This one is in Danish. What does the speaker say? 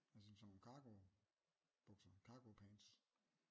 Altså som sådan nogle cargo bukser cargo pants?